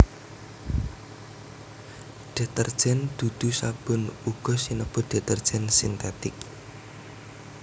Detergen dudu sabun uga sinebut detergen sintetik